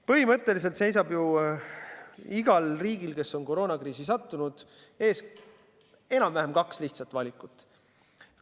Põhimõtteliselt seisab igal riigil, kes on koroonakriisi sattunud, ees enam-vähem kaks lihtsat valikut.